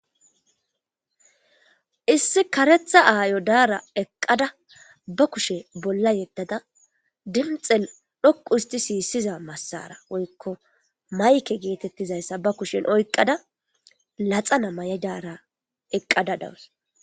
Issi karetha ayo Dara eqida be kushe bolla yedada dunxen dhoqu hist sisiza masara woyko mic getetizaysa oyqada laxana mayada eqada dawus.